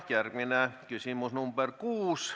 Järgmine küsimus on nr 6.